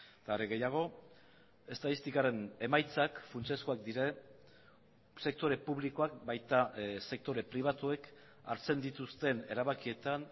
eta are gehiago estatistikaren emaitzak funtsezkoak dira sektore publikoak baita sektore pribatuek hartzen dituzten erabakietan